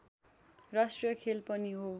राष्ट्रिय खेल पनि हो